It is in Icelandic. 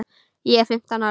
Ég er fimmtán ára.